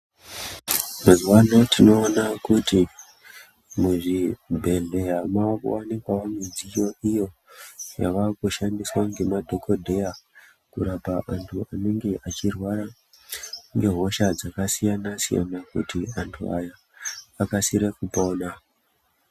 Mazuva ano tinoona kuti muzvibhedhleya mwaakuwanikwavo midziyo iyo yavakushandiswa ngemadhokodheya, kurapa antu anenge echirwara ngehosha dzakasiyana-siyana. Kuti antu aya akasire kupona.